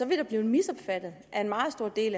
det blive misopfattet af en meget stor del